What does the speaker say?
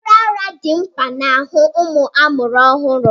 Mmiri ara dị mma maka mmepe ahụike nke nwatakịrị.